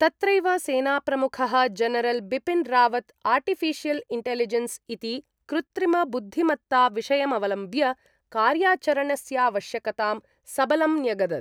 तत्रैव सेनाप्रमुखः general Bipin Rawat artificial intelligence इति कृत्रिमबुद्धिमत्ताविषयमवलम्ब्य कार्याचरणस्यावश्यकतां सबलम् न्यगदत्।